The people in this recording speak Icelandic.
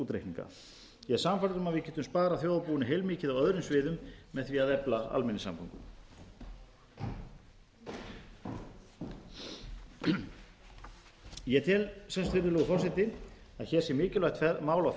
um að við getum sparað þjóðarbúinu heilmikið á öðrum sviðum með því að efla almenningssamgöngur ég tel sem sagt virðulegur forseti að hér sé mikilvægt mál á